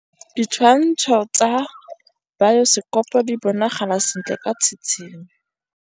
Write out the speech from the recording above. Ditshwantshô tsa biosekopo di bonagala sentle ka tshitshinyô.